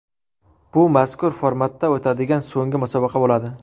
Bu mazkur formatda o‘tadigan so‘nggi musobaqa bo‘ladi.